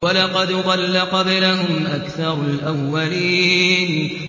وَلَقَدْ ضَلَّ قَبْلَهُمْ أَكْثَرُ الْأَوَّلِينَ